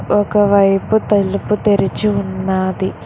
ఒక వైపు తలుపు తెరిచి ఉన్నాది.